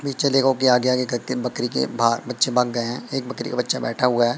पीछे देखो कि आगे आगे करके बकरी के बाद बच्चे भाग गए हैं एक बकरी का बच्चा बैठा हुआ--